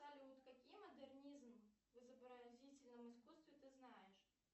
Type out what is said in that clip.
салют какие модернизм в изобразительном искусстве ты знаешь